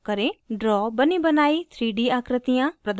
draw बनीबनाई 3d आकृतियाँ प्रदान करता है